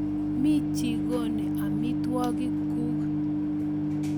Mi chikoni amitwogik kuk